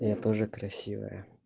я тоже красивая